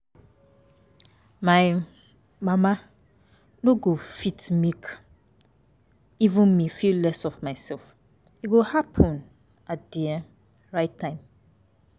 My um mama no go fit make um me feel less of myself, e go happen at the um right time